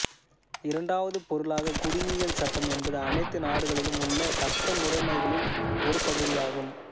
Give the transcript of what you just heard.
இரண்டாவது பொருளாக குடிமையியல் சட்டம் என்பது அனைத்து நாடுகளிலும் உள்ள சட்ட முறைமைகளில் ஒரு பகுதியாகும்